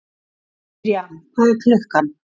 Mirjam, hvað er klukkan?